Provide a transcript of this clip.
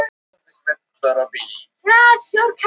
Ég horfði á hurðina sem féll hljóðlega að stöfum fyrir ofan.